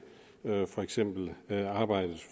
for eksempel arbejdet